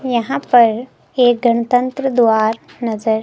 यहां पर एक गणतंत्र द्वार नजर--